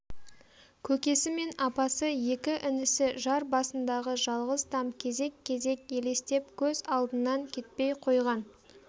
көкесі мен апасы екі інісі жар басындағы жалғыз там кезек-кезек елестеп көз алдынан кетпей қойған